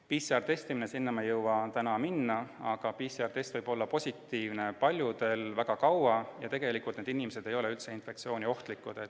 PCR-testimine: sellesse teemasse ei jõua ma täna minna, aga PCR-test võib olla positiivne paljudel väga kaua, kuid tegelikult ei ole need inimesed üldse infektsiooniohtlikud.